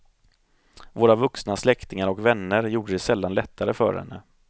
Våra vuxna släktingar och vänner gjorde det sällan lättare för henne.